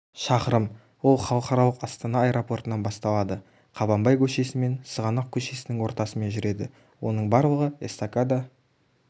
шақырым ол халықаралық астана аэропортынан басталады қабанбай көшесімен сығанақ көшесінің ортасымен жүреді оның барлығы эстакада